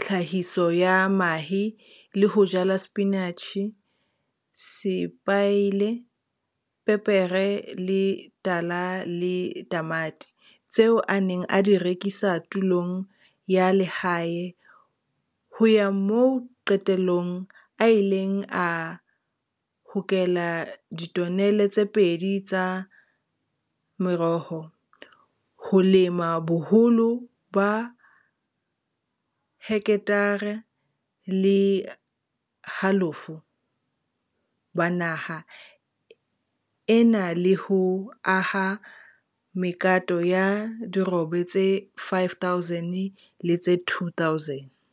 tlhahiso ya mahe le ho jala sepinatjhe, sepaile, pepere e tala le tamati, tseo a neng a di rekisa tulong ya lehae, ho ya moo qetellong a ileng a hokela ditonele tse pedi tsa meroho, ho lema bo holo ba heketare le halofo ba naha ena le ho aha mekato ya dirobe tse 5 000 le tse 2 000.